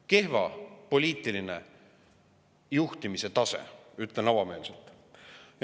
Kehva poliitilise juhtimise tase, ütlen avameelselt.